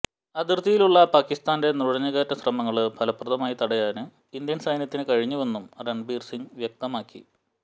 അതിര്ത്തിയിലുള്ള പാകിസ്ഥാന്റെ നുഴഞ്ഞുകയറ്റ ശ്രമങ്ങള് ഫലപ്രദമായി തടയാന് ഇന്ത്യന് സൈന്യത്തിന് കഴിഞ്ഞുവെന്നും രണ്ബിര് സിംഗ് വ്യക്തമാക്കി